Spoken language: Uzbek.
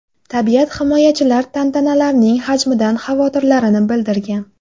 Tabiat himoyachilar tantanlarning hajmidan xavotirlarini bildirgan.